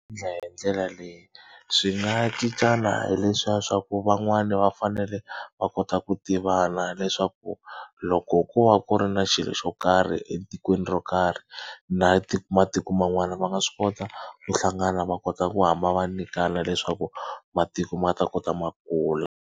hi ndlela leyi swi nga cincana hi leswiya swa ku van'wani va fanele va kota ku tivana leswaku loko ku va ku ri na xilo xo karhi etikweni ro karhi na matiko man'wana va nga swi kota ku hlangana va kota ku hamba va nyikana leswaku matiko ma ta kota ma kula.